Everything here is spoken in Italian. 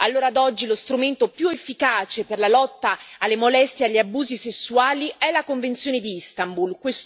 Allora ad oggi lo strumento più efficace per la lotta alle molestie e agli abusi sessuali è la convenzione di Istanbul.